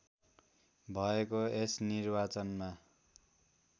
भएको यस निर्वाचनमा